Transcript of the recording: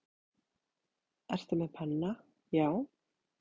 Ertu með penna, já.